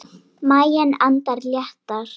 Maginn andar léttar.